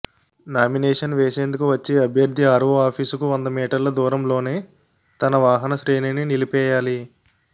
నా మినేషన్ వేసేందుకు వచ్చే అభ్యర్థి ఆర్వో ఆఫీసుకు వంద మీటర్ల దూరంలోనే తన వాహన శ్రేణిని నిలిపేయాలి